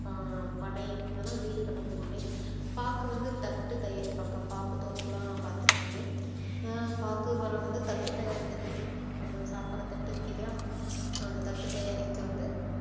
ஆஹ் பனை இதெல்லாம் வீடு கட்டுறதுக்கு ஒண்ணு பாக்கு வந்து தட்டு தயாரிப்பாங்க பாக்கு தோப்புலாம் பார்த்திருப்பீங்க அஹ் பாக்கு மரம் வந்து தட்டு தயாரிக்கிறதுக்கு பயன்~ சாப்பிடுற தட்டு இருக்கு இல்லயா அந்த தட்டு தயாரிக்க வந்து